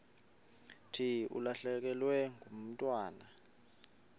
thi ulahlekelwe ngumntwana